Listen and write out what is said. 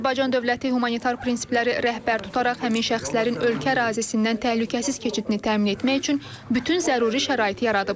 Azərbaycan dövləti humanitar prinsiplərə rəhbər tutaraq həmin şəxslərin ölkə ərazisindən təhlükəsiz keçidini təmin etmək üçün bütün zəruri şəraiti yaradıb.